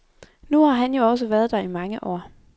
Nu har han jo også været der i mange år.